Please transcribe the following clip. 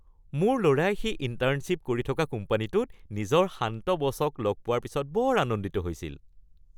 মোৰ ল’ৰাই সি ইন্টাৰ্নশ্বিপ কৰি থকা কোম্পানীটোত নিজৰ শান্ত বছক লগ পোৱাৰ পিছত বৰ আনন্দিত হৈছিল।